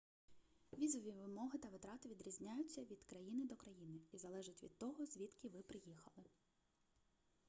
візові вимоги та витрати відрізняються від країни до країни і залежать від того звідки ви приїхали